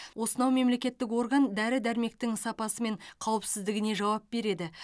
осынау мемлекеттік орган дәрі дәрмектің сапасы мен қауіпсіздігіне жауап береді